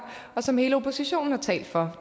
og som hele oppositionen har talt for